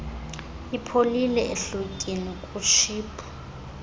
ipholile ehlotyeni kutshiphu